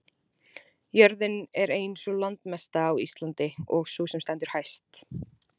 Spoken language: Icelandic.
jörðin er ein sú landmesta á íslandi og sú sem stendur hæst